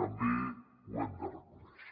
també ho hem de reconèixer